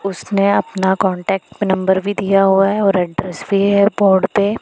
उसने अपना contact number भी दिया हुआ है और एड्रेस भी बोर्ड पे।